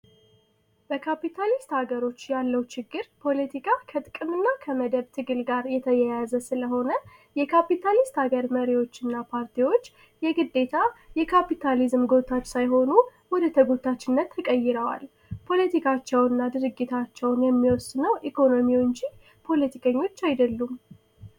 ይህ በካፒታሊስት ሀገሮች ያለው የፖለቲካ ችግር ፖለቲካ ከገንዘብ መደብ ጋር የተያያዘ በመሆኑ የካፒታሊስት ሀገር መሪዎችና ፓርቲዎች የግዴታ የካፒታሊዝም ወጣት ሳይሆኑ ወደ ተጎታችና ተቀይረዋ ፖለቲካቸውንና ድርጊታቸው የሚወስነው ኢኮኖሚው እንጂ ፖለቲከኞች አይደሉም።